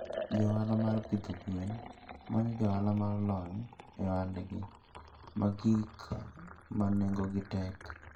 Jo ohala mag pidho gwen manyo jo ohala ma olony e ohandgi mar gik ma nengogi tek.